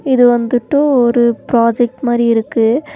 இது வந்துட்டு ஒரு ப்ராஜெக்ட் மாரி இருக்கு.